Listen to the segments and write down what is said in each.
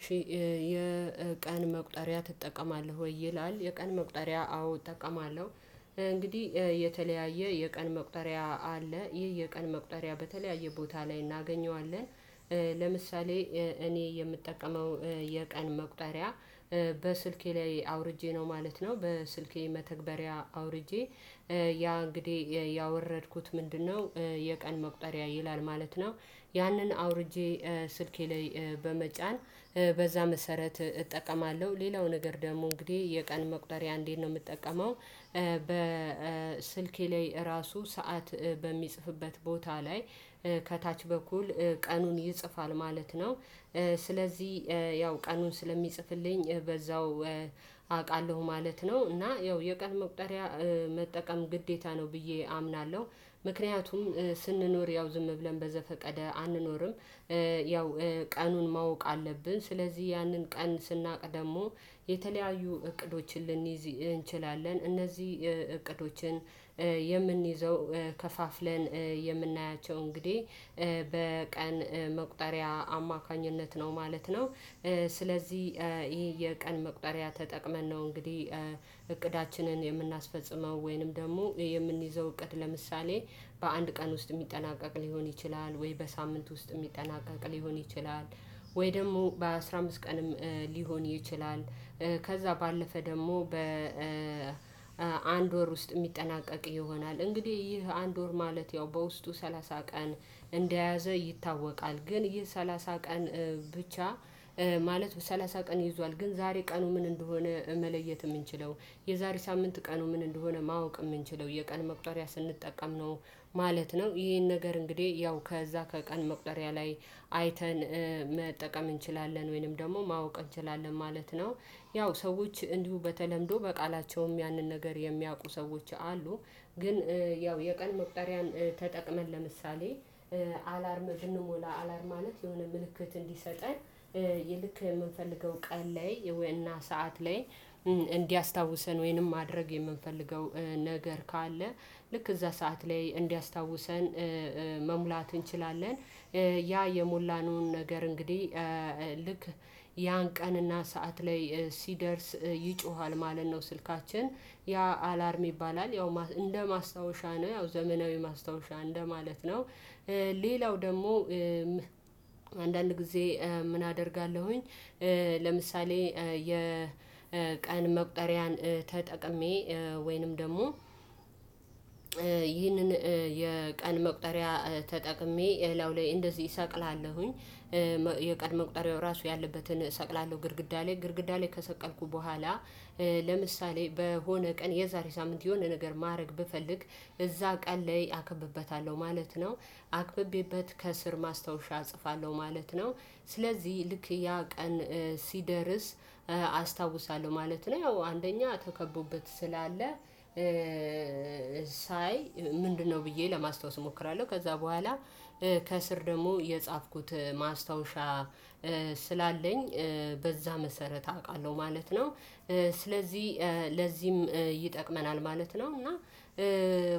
እሺ የቀን መቁጠሪያ ትጠቀማለህ ወይ? ይላል የቀን መቁጠሪያ አዎ እጠቀማለሁ። እንግዲህ የተለያየ የቀን መቁጠሪያ አለ ይህ የቀን መቁጠሪያ በተለያየ ቦታ ላይ እናገኘዋለን። ልምሳሌ እኔ የምጠቀመው የቀን መቁጠሪያ። በስልኬ ላይ አውርጄ ነው ማለት ነው በስልኬ መተግበሪያ አውርጄ ያ እንግዲህ ያወረድኩት ምንድነው? የቀን መቁጠሪያ ይላል ማለት ነው። ያንን አውርጄ ስልኬ ላይ በመጫን በዛ መሰረት እጠቀማለሁ። ሌላው ነገር ደግሞ እንግዲህ የቀን መቁጠሪያ እንዴት ነው የምጠቀመው? በስልኬ ላይ እራሱ ሰዓት በሚጽፍበት ቦታ ላይ ከታች በኩል ቀኑን ይጽፋል ማለት ነው። ስለዚህ ያው ቀኑን ስለሚጽፍልኝ በዛው አውቃለሁ ማለት ነው። እና ያው የቀን መቁጠሪያ መጠቀም ግዴታ ነው ብዬ አምናለሁ። ምክንያቱም ስንኖር ያው ዝም ብለን በዘፈቀደ አንኖርም። ያው ቀኑን ማወቅ አለብን ስለዚህ ያንን ቀን ስናውቅ ደግሞ የተለያዩ እቅዶችን ልንይዝ እንችላለን። እነዚህ እቅዶችን የምንይዘው ከፋፍለን የምናያቸው እንግዲህ በቀን መቁጠሪያ አማካኝነት ነው ማለት ነው። ስለዚህ ይሄ የቀን መቁጠሪያ ተጠቅመን ነው እንግዲህ እቅዳችንን የምናስፈጽመው ወይንም ደግሞ የምንይዘው እቅድ ለምሳሌ በአንድ ቀን ውስጥ የሚጠናቀቅ ሊሆን ይችላል ወይ በሳምንት ውስጥ የሚጠናቀቅ ሊሆን ይችላል። ወይ ደግሞ በአስራ አምስት ቀንም ሊሆን ይችላል። ከዛ ባለፈ ደግሞ በአንድ ወር ውስጥ የሚጠናቀቅ ይሆናል እንግዲህ ይህ አንድ ወር ማለት ያው በውስጡ ሰላሳ ቀን እንደያዘ ይታወቃል። ግን ይህ ሰላሳ ቀን ብቻ። ማለት ሰላሳ ቀን ይዟል ግን ዛሬ ቀኑ ምን እንደሆነ መለየት የምንችለው የዛሬ ሳምንት ቀኑ ምን እንደሆነ ማወቅ የምንችለው የቀን መቁጠሪያ ስንጠቀም ነው። ማለት ነው ይሄን ነገር እንግዲህ ያው ከዛ ከቀን መቁጠሪያ ላይ አይተን መጠቀም እንችላለን ወይንም ደግሞ ማወቅ እንችላለን ማለት ነው። ያው ሰዎች እንዲሁ በተለምዶ በቃላቸውም ያንን ነገር የሚያውቁ ሰዎች አሉ። ግን ያው የቀን መቁጠሪያን ተጠቅመን ለምሳሌ አላርም ብንሞላ አላርም ማለት የሆነ ምልክት እንዲሰጠን እንዲልክ የምንፈልገው ቀን ላይ ወይም ሰዓት ላይ እንዲያስታውሰን ወይንም ማድረግ የምንፈልገው ነገር ካለ ልክ እዛ ሰዓት ላይ እንዲያስታውሰን መሙላት እንችላለን። ያ የሞላነውን ነገር እንግዲህ ልክ ያን ቀንና ሰዓት ላይ ሲደርስ ይጮሃል ማለት ነው ስልካችን ያ አላርም ይባላል ያው እንደ ማስታወሻ ነው ያው ዘመናዊ ማስታወሻ እንደማለት ነው። ሌላው ደግሞ አንዳንድ ጊዜ ምን አደርጋለሁኝ? ለምሳሌ የቀን መቁጠሪያን ተጠቅሜ ወይንም ደግሞ ይህንን የቀን መቁጠሪያ ተጠቅሜ እላው ላይ እንደዚህ እሰቅላለሁኝ። የቀን መቁጠሪያው ራሱ ያለበትን እሰቅላለሁ ግድግዳ ላይ ግድግዳ ላይ ከሰቀልኩ በኋላ ለምሳሌ በሆነ ቀን የዛሬ ሳምንት የሆነ ነገር ማድረግ ብፈልግ እዛ ቀን ላይ አከብበታለሁ ማለት ነው። አክብቤበት ከስር ማስታወሻ እጽፋለሁ ማለት ነው። ስለዚህ ልክ ያ ቀን ሲደርስ አስታውሳለሁ ማለት ነው። ያው አንደኛ ተከቦበት ስላለ ሳይ ምንድነው? ብዬ ለማስታወስ እሞክራለሁ ከዛ በኋላ ከስር ደግሞ የጻፍኩት ማስታወሻ ስላለኝ በዛ መሰረት አውቃለሁ ማለት ነው። ስለዚህ ለዚህም ይጠቅመናል ማለት ነው። እና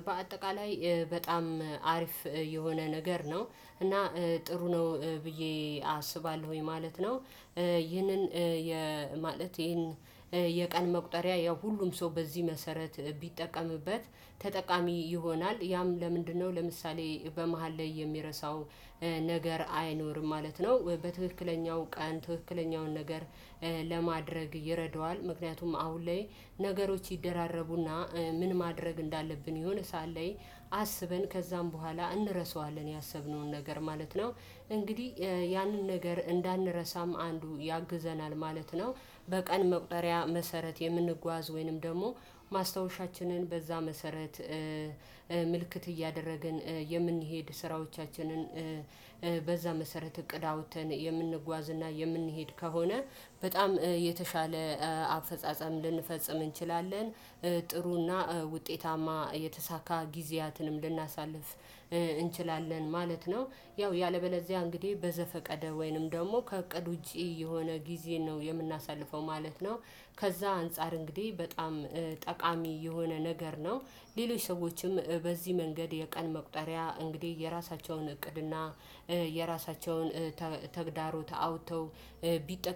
በአጠቃላይ በጣም አሪፍ የሆነ ነገር ነው። እና ጥሩ ነው ብዬ አስባለሁኝ ማለት ነው። ይህንን የማለት ይህን የቀን መቁጠሪያ ያው ሁሉም ሰው በዚህ መሰረት ቢጠቀምበት ተጠቃሚ ይሆናል። ያም ለምንድነው ለምሳሌ በመሃል ላይ የሚረሳው? ነገር አይኖርም ማለት ነው። በትክክለኛው ቀን ትክክለኛውን ነገር ለማድረግ ይረደዋል። ምክንያቱም አሁን ላይ ነገሮች ይደራረቡና ምን ማድረግ እንዳለብን የሆነ ሰዓት ላይ አስበን ከዛም በኋላ እንረሳዋለን ያሰብነውን ነገር ማለት ነው። እንግዲህ ያንን ነገር እንዳንረሳም አንዱ ያግዘናል ማለት ነው። በቀን መቁጠሪያ መሰረት የምንጓዝ ወይንም ደግሞ ማስታወሻችንን በዛ መሰረት ምልክት እያደረግን የምንሄድ ስራዎቻችንን በዛ መሰረት እቅድ አውጥተን የምንጓዝ እና የምንሄድ ከሆነ በጣም የተሻለ አፈጻጸም ልንፈጽም እንችላለን። ጥሩና ውጤታማ የተሳካ ጊዜያትንም ልናሳልፍ እንችላለን ማለት ነው። ያው ያለበለዚያ እንግዲህ በዘፈቀደ ወይንም ደግሞ ከእቅድ ውጪ የሆነ ጊዜ ነው የምናሳልፈው ማለት ነው። ከዛ አንፃር እንግዲህ በጣም ጠቃሚ የሆነ ነገር ነው። ሌሎች ሰዎችም በዚህ መንገድ የቀን መቁጠሪያ እንግዲህ የራሳቸውን እቅድና የራሳቸውን ተግዳሮ አውተው ቢጠቀሙ